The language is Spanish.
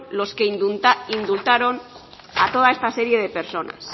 los que indultaron a toda esta serie de personas